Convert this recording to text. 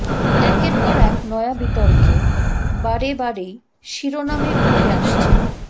একের পর এক নয়া বিতর্কে বারেবারেই শিরোনামে উঠে আসছেন